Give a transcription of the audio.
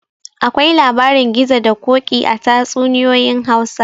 Akwai labarin gizo da koki a tatsuninyoyin Hausa